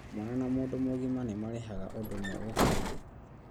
Mwana na mũndũ mũgima nĩmarĩhaga ũndũ ũmwe gũkĩndwo